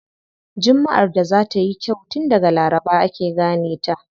Jummaʼar da za tayi kyau tun daga laraba ake gane ta.